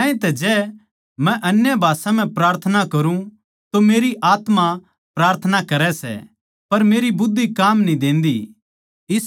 ज्यांतै जै मै अन्य भाषा म्ह प्रार्थना करूँ तो मेरी आत्मा प्रार्थना करै सै पर मेरी बुद्धि काम न्ही देंदी